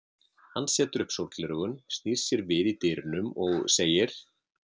Hann setur upp sólgleraugun, snýr sér við í dyrunum og segir